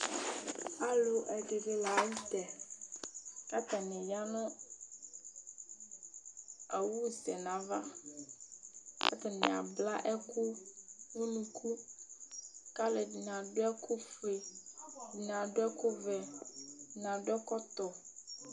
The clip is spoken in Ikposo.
alo ɛdini lantɛ k'atani ya no owu sɛ n'ava k'atani abla ɛkò unuku k'alo ɛdini adu ɛkò fue ɛdini adu ɛkò vɛ ɛdini adu ɛkɔtɔ